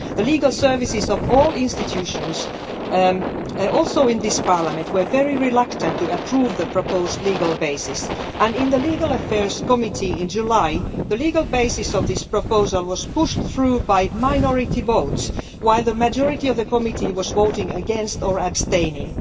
The legal services of all institutions, also in this Parliament, were very reluctant to approve the proposed legal basis, and in the Committee on Legal Affairs in July, the legal basis of this proposal was pushed through by minority votes, while the majority of the committee was voting against or abstaining.